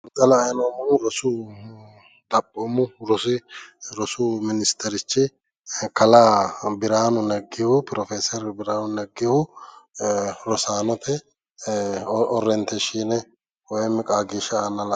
xa la"ayi noommohu rosu, xaphoomu rosu minisiterichi Kalaa biraanu neggihu pirofeeseri biraanu neggihu rosaanote orreenteeshshiine woyiimi qaaagiishsha aanna la'neeemmo.